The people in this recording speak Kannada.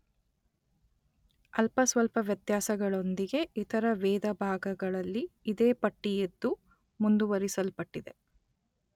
ಅಲ್ಪ ಸ್ವಲ್ಪ ವ್ಯತ್ಯಾಸಗಳೊಂದಿಗೆ ಇತರ ವೇದಭಾಗಗಳಲ್ಲಿ ಇದೇ ಪಟ್ಟಿಯಿದ್ದು ಮುಂದುವರಿಸಲ್ಪಟ್ಟಿದೆ.